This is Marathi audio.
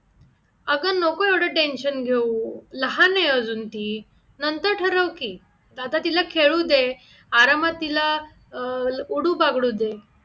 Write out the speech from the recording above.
अगं नको एवढं tension घेऊ लहान आहे अजून ती नंतर ठरव की आता तिला खेळू दे आरामात तिला अह उडू बागडू दे